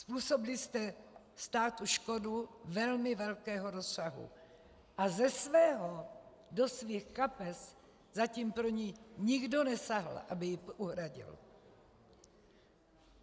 Způsobili jste státu škodu velmi velkého rozsahu a ze svého do svých kapes zatím pro ni nikdo nesáhl, aby ji uhradil.